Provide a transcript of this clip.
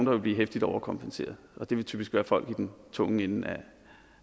vil blive heftigt overkompenseret og det vil typisk være folk i den tunge ende